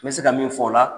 N bɛ se ka min fɔ o la